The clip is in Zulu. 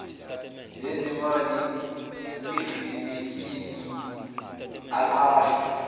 lezimali ebhizinisini aqashwe